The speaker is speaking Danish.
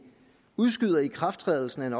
udskyder ikrafttrædelsen